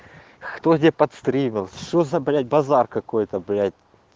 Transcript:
кто тебя подстрелил что за блять базар какой-то блять